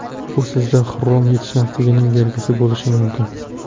Bu sizda xrom yetishmasligining belgisi bo‘lishi mumkin.